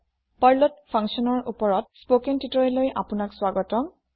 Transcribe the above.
functions in Perlৰ spoken tutorial লৈ আপোনাক স্ৱাগতম